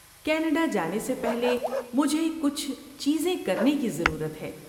Canada جانے سے پہلے مجھے کچھ چیزیں کرنے کی ضرورت ہے۔